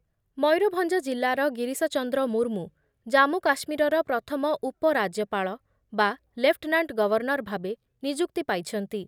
ମୟୂରଭଞ୍ଜ ଜିଲ୍ଲାର ଗିରିଶଚନ୍ଦ୍ର ମୁର୍ମୁ ଜାମ୍ମୁ କାଶ୍ମୀରର ପ୍ରଥମ ଉପରାଜ୍ୟପାଳ ବା ଲେଫ୍ଟନାଣ୍ଟ ଗଭର୍ଣ୍ଣର ଭାବେ ନିଯୁକ୍ତି ପାଇଛନ୍ତି ।